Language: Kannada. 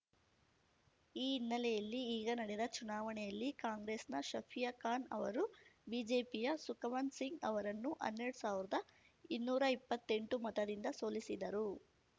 ಈ ಹಿನ್ನೆಲೆಯಲ್ಲಿ ಈಗ ನಡೆದ ಚುನಾವಣೆಯಲ್ಲಿ ಕಾಂಗ್ರೆಸ್‌ನ ಶಫಿಯಾ ಖಾನ್‌ ಅವರು ಬಿಜೆಪಿಯ ಸುಖವಂತ್‌ ಸಿಂಗ್‌ ಅವರನ್ನು ಹನ್ನೆರಡು ಸಾವ್ರ್ದ ಇನ್ನೂರ ಇಪ್ಪತ್ತೆಂಟು ಮತದಿಂದ ಸೋಲಿಸಿದರು